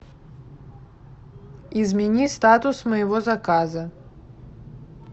измени статус моего заказа